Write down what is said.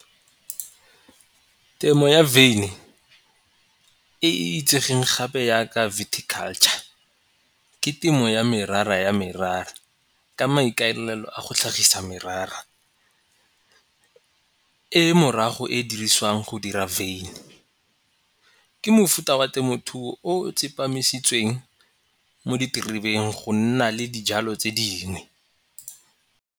Temo ya wyn-i e e itsegeng gape yaka culture ke temo ya merara ya merara ka maikaelelo a go tlhagisa merara. E morago e diriswang go dira wyn-i ke mofuta wa temothuo o o tsepamisweng mo diterebeng go nna le dijalo tse dingwe.